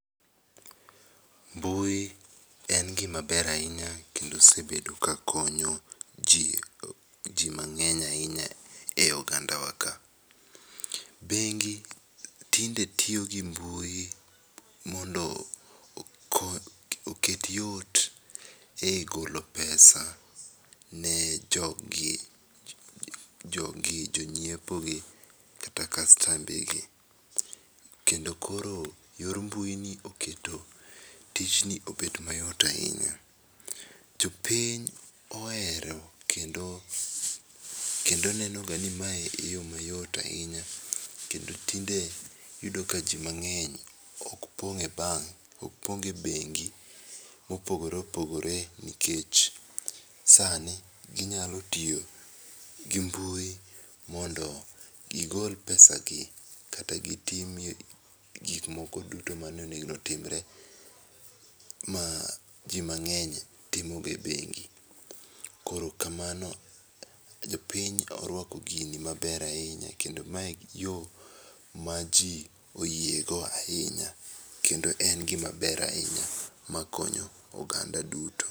Mbui en gima ber ahinya kendo osebedo ka konyo ji, ji mang'eny ahinya e oganda wa ka. Bengi tinde tiyo gi mbui mondo okony oket yot ei golo pesa ne joggi jo gi jo ng'iepo gi kata kastambe gi, kendo koro yor mbui ni keto tijni obedo ma yot ahinya. Jo piny ohero kendo neno ga ni mae e yo ma yot ahinya kendo tinde iyudo ni ji mangeny ok pong' e bank ok pong e bengi mopogore opogore nikech, sani gi nyalo tiyo gi mbui mondo gi gol pesa gi kata gi tim gik moko duto ma ne onego timre ma ji mang'eny timo ga e bengi .Koro kamano jo piny orwako gini ma ber ahinya ,kendo ma e yo ma ji oyie go ahinya kendo en gi ma ber ahinya ma konyo oganda duto.